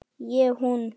Ég hún.